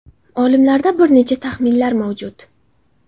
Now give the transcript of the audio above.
Olimlarda bir necha taxminlar mavjud.